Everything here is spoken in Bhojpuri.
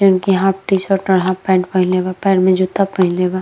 जिनके हाफ टी-शर्ट और हाफ पैंट पहिनले बा। पैर में जूता पहिनले बा